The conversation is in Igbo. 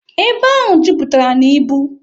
Ebe ahụ jupụtara na ibu.